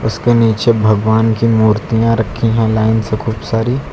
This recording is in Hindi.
इसके नीचे भगवान की मूर्तियां रखी है लाइन से खूब सारी।